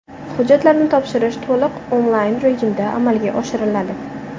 Hujjatlarni topshirish to‘liq onlayn rejimda amalga oshiriladi.